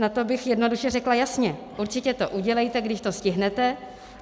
Na to bych jednoduše řekla: jasně, určitě to udělejte, když to stihnete.